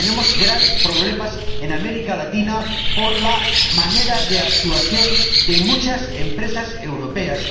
Tenemos graves problemas en América Latina por la manera de actuar de muchas empresas europeas.